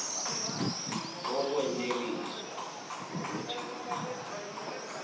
kokweneliswa wukuthi umzali